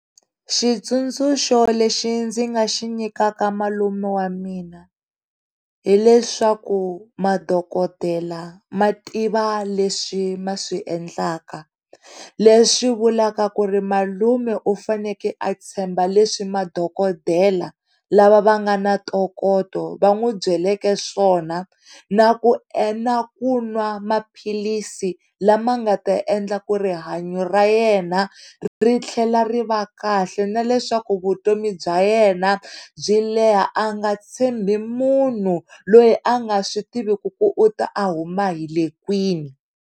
Xitsundzuxo lexi ndzi nga xi nyikaka malume wa mina hileswaku madokodela mativa leswi ma swiendlaka leswi vulavula ku ri malume u fanele a tshemba leswi madokodela lava va nga ni ntokoto va n'wi byeleke swona na ku endla, kun'wa maphilisi lama nga ta endla ku rihanya ra yena ri tlhela ri va kahle na leswaku vutomi bya yena byi leha a nga tshembi munhu loyi a nga swi tiviki ku u ta a huma hile kwini.